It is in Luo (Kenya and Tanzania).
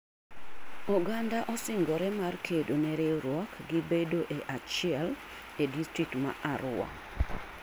Oganda osingore mar kedo ne riwruok gi bedo e achiel e distrikt ma Arua.